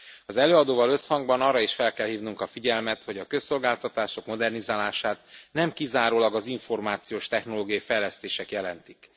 Az előadóval összhangban arra is fel kell hívnunk a figyelmet, hogy a közszolgáltatások modernizálását nem kizárólag az információs technológiai fejlesztések jelentik.